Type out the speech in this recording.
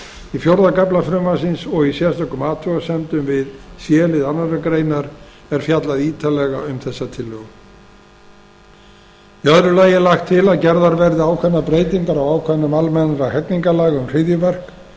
í fjóra kafla frumvarpsins og í sérstökum athugasemdum við c lið annarrar greinar er fjallað ítarlega um þessa tillögu í öðru lagi er lagt til að gerðar verði ákveðnar breytingar á ákvæðum almennra hegningarlaga um hryðjuverk